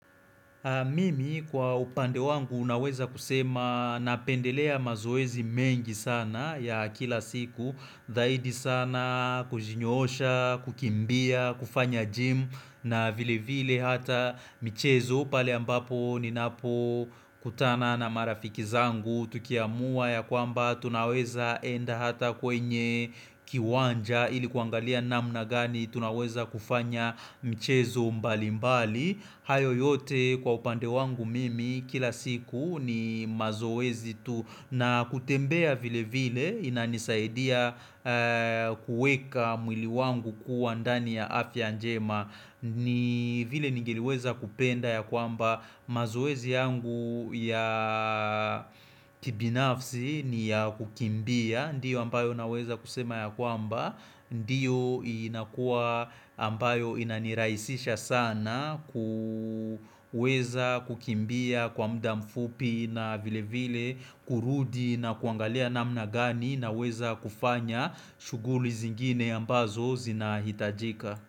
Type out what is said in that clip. Mimi kwa upande wangu unaweza kusema napendelea mazoezi mengi sana ya kila siku dhaidi sana kujinyosha, kukimbia, kufanya gym na vile vile hata mchezo pale ambapo ninapo kutana na marafiki zangu tukiamuwa ya kwamba tunaweza enda hata kwenye kiwanja ilikuangalia namu na gani tunaweza kufanya mchezo mbali mbali hayo yote kwa upande wangu mimi kila siku ni mazoezi tu na kutembea vile vile inanisaidia kuweka mwili wangu kuwa ndani ya afya njema ni vile ningeliweza kupenda ya kwamba mazoezi yangu ya kibinafsi ni ya kukimbia ndiyo ambayo naweza kusema ya kwamba ndio inakua ambayo inaniraisisha sana kuweza kukimbia kwa muda mfupi na vile vile kurudi na kuangalia namna gani na weza kufanya shuguli zingine ambazo zinahitajika.